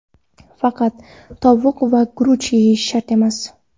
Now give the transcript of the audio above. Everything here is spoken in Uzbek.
Faqat tovuq va guruch yeyish shart emas.